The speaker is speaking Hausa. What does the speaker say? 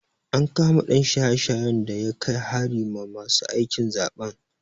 An kama ɗan shaye-shayen da ya kai hari ma masu aikin zaɓen.